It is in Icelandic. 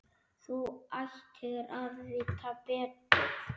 Þú ættir að vita betur!